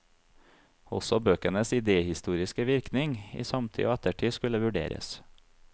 Også bøkenes idéhistoriske virkning i samtid og ettertid skulle vurderes.